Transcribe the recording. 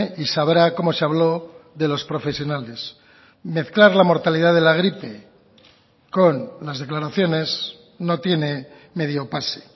y sabrá cómo se habló de los profesionales mezclar la mortalidad de la gripe con las declaraciones no tiene medio pase